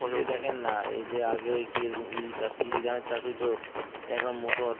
এই জায়গা নাই কি রকম ইরি চাষ ইরি ধানের চাষ হয়তো এখন মটর